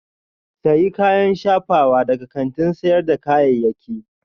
Sayi kayan shafawa daga kantin sayar da kayayyaki